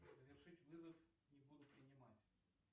завершить вызов не буду принимать